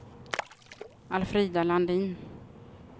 Alfrida Landin